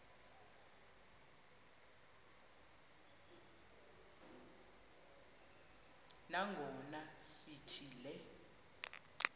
nangona sithi le